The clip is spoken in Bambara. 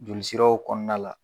Jolisiraw kɔnɔna la.